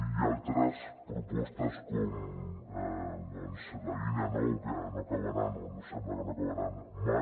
i altres propostes com la línia nou que no acabaran o sembla que no acabaran mai